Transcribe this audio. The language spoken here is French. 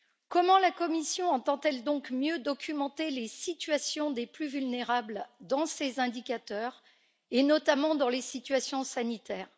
Comment la Commission entend elle donc mieux documenter les situations des plus vulnérables dans ses indicateurs et notamment dans les situations sanitaires.